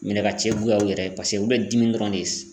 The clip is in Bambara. Minɛ ka cɛ goya u yɛrɛ ye paseke olu bɛ dimi dɔrɔn de ye